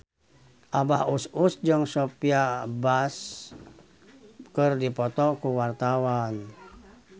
Abah Us Us jeung Sophia Bush keur dipoto ku wartawan